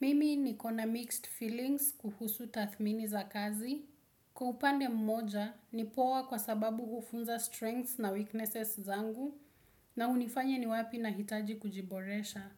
Mimi ni kona mixed feelings kuhusu tathmini za kazi. Kwa upande mmoja ni poa kwa sababu hufunza strengths na weaknesses zangu na unifanya ni wapi na hitaji kujiboresha.